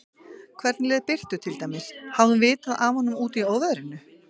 Hvernig leið Birtu til dæmis, hafði hún vitað af honum úti í óveðrinu?